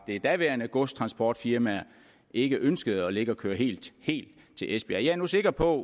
det daværende godstransportfirma ikke ønskede at ligge og køre helt til esbjerg jeg er nu sikker på